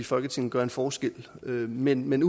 folketinget gør en forskel men men